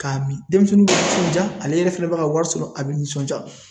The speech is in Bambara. K'a min denmisɛnninw nisɔndiya ale yɛrɛ fɛnɛ bɛ ka wari sɔrɔ a bɛ nisɔndiya